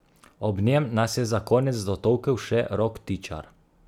Ob njem nas je za konec dotolkel še Rok Tičar.